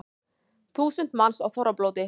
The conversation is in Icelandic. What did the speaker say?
Þúsund manns á þorrablóti